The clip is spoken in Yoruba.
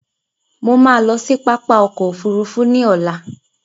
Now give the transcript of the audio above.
Mo máa lọ sí pápá ọkọ òfúrúúfú ní ọ̀la